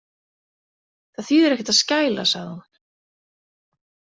Það þýðir ekkert að skæla, sagði hún.